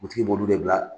b'olu de bila